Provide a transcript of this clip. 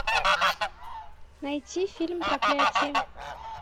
найти фильм проклятие